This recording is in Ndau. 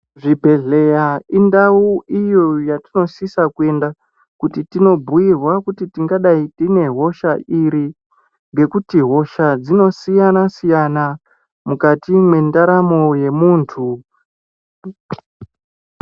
Zvibhehleya indawu iyo yatinosise kuenda kuti tinobhuirwa kuti tingadai tine hosha iri. Ngekuti hosha dzinosiyana siyana mukati mwendaramo yemunthu